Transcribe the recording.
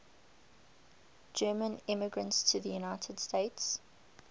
german immigrants to the united states